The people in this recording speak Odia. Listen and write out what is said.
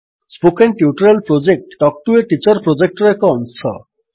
spoken tutorial project talk to a teacher ପ୍ରୋଜେକ୍ଟର ଏକ ଅଂଶ